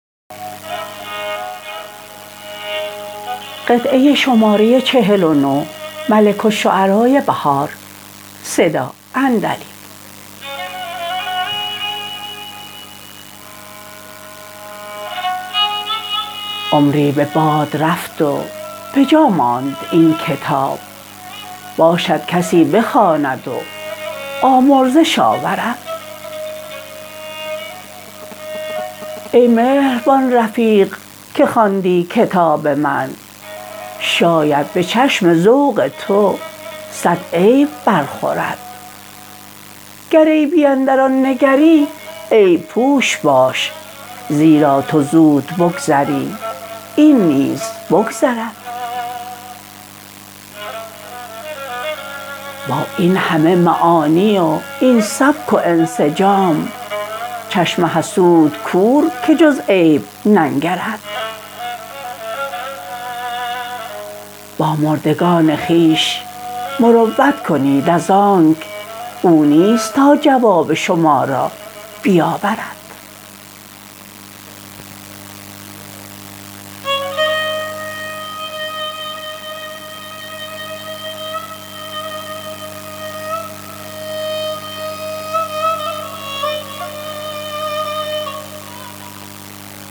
عمری به باد رفت و به جا ماند این کتاب باشدکشی بخواند وآمرزش آورد ای مهربان رفیق که خواندی کتاب من شاید به چشم ذوق تو صد عیب برخورد گر عیبی اندر آن نگری عیب پوش باش زبرا تو زود بگذری این نیز بگذرد با این همه معانی و این سبک و انسجام چشم حسودکورکه جز عیب ننگرد با مردگان خویش مروت کنید از آنک او نیست تا جواب شما را بیاورد